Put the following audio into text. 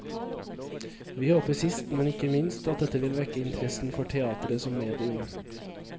Vi håper sist men ikke minst at dette vil vekke interessen for teateret som medium.